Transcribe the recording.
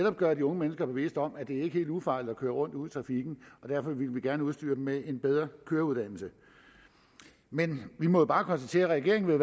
at gøre de unge mennesker bevidste om at det ikke er helt ufarligt at køre rundt ude i trafikken derfor ville vi gerne udstyre dem med en bedre køreuddannelse men vi må jo bare konstatere at regeringen